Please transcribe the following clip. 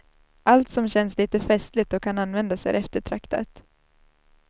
Allt som känns litet festligt och kan användas är eftertraktat.